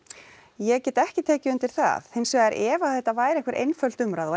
ég get ekki tekið undir það hins vegar ef að þetta væri einhver einföld umræða og